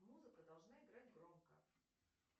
музыка должна играть громко